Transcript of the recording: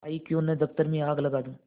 आयीक्यों न दफ्तर में आग लगा दूँ